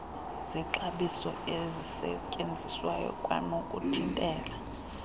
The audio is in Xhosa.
zexabiso ezisetyenziswayo kwanokuthintela